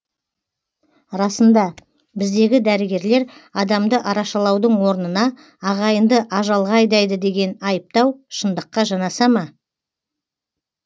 расында біздегі дәрігерлер адамды арашалаудың орнына ағайынды ажалға айдайды деген айыптау шындыққа жанаса ма